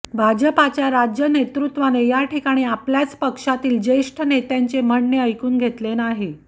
भाजपच्या राज्य नेतृत्वाने याठिकाणी आपल्याच पक्षातील ज्येष्ठ नेत्यांचे म्हणणे ऐकून घेतले नाही